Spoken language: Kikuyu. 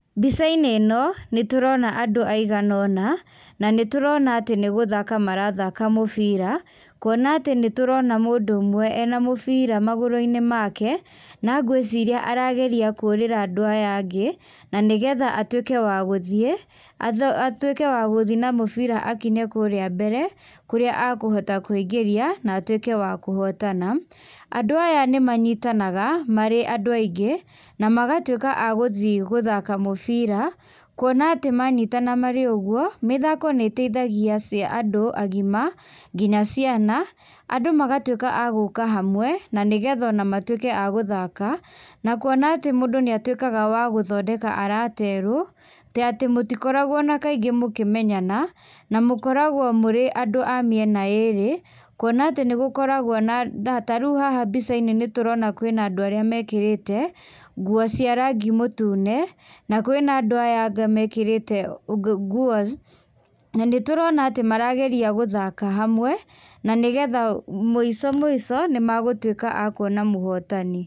Mbicainĩ ĩno, nĩtũrona andũ aigana ũna, na nĩtũrona atĩ nĩgũthaka marathaka mũbira, kuona atĩ nĩtũrona mũndũ ũmwe ena mũbira magũrũinĩ make, na ngwĩciria arageria kũrĩra andũ aya angĩ, nĩ nĩgetha atuĩke wa gũthiĩ, atuĩke wa gũthiĩ na mũbira akinye kũrĩa mbere, kũrĩa akũhota kũingĩrĩa, na atuĩke wa kũhotana, andũ aya nĩmanyitanaga marĩ andũ aingĩ, namagatuĩka a gũthiĩ gũthaka mũbira, kuona atĩ manyitana marĩ ũguo, mĩthako nĩ ĩteithagia ci andũ agima, nginya ciana, andũ magatuĩka a gũka hamwe, na nĩgetha ona matuĩke a gũthaka, na kuona atĩ mũndũ nĩatuĩkaga wa gũthondeka arata erũ, ta atĩ mũtikoragwo na kaingĩ mũkĩmenyana, na mũkoragwo mũrĩ andũ a mĩena ĩrĩ, kuona atĩ nĩgũkoragwo na na tarĩũ haha mbicainĩ nĩtũrona kwĩna andũ erĩ mekĩrĩte, nguo cia rangi mũtune, na kwĩna andũ aya angĩ mekĩrĩte nguo. Na nĩtũrona atĩ marageria gũthaka hamwe, na nĩgetha mũico mũico nĩmagũtuĩka a kuona mũhotani.